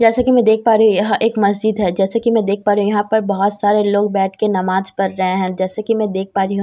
जैसा कि मैं देख पा रही हूं यहां एक मस्जिद है जैसा कि मैं देख पा रही हूं यहां पर बहुत सारे लोग बैठ के नमाज पढ़ रहे हैं जैसे कि मैं देख पा रही हूँ।